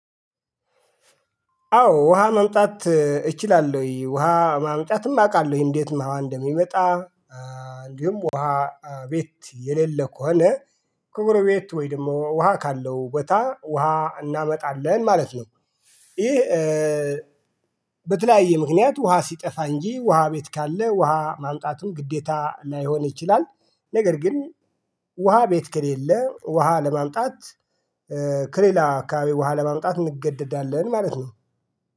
አዎ ውሃ ማምጣት እችላለሁኝ ውሃ ማምጣትም አውቃለሁኝ እንዴትም አዎ እንደሚመጣ እንዲሁም ውሃ ቤት የሌለ ከሆነ ቅርብ ቤት ወይ ደግሞ ውሃ ካለው ቦታ ውሃ እናማጣለን ማለት ነው። ይህ በተለያየ ምክንያት ውሃ ሲጠፋ እንጂ ውሃ ቤት ካለ ውሃ ማምጣቱን ግዴታ ላይሆን ይችላል። ነገር ግን ውሃ ቤት ከሌለ ውሃ ለማምጣት ከሌላ አካባቢ ውሃ ለማምጣት እንገደዳለን ማለት ነው